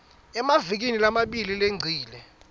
emavikini lamabili lengcile